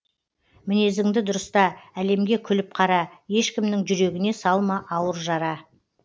мінезіңді дұрыста әлемге күліп қара ешкімнің жүрегіне салма ауыр жара